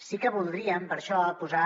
sí que voldríem per això posar